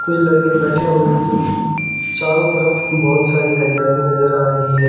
तीन लड़के बैठे हुए भी चारों तरफ बहुत सारी हरियाली नजर आ रही है।